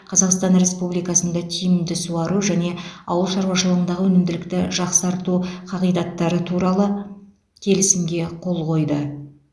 қазақстан республикасында тиімді суару және ауыл шаруашылығындағы өнімділікті жақсарту қағидаттары туралы келісімге қол қойды